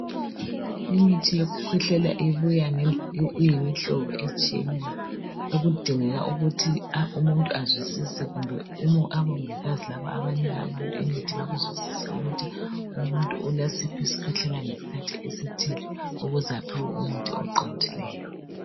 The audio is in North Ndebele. Imithi yokukhwehlela ibuya iyimihlobo etshiyeneyo okudingeka ukuthi umuntu azwisise kumbe obongikazi laba abanika abantu imithi bakuzwisise ukuthi umuntu ulasiphi isikhwehlela ngesikhathi esithile, ukuze aphiwe umuthi oqondileyo.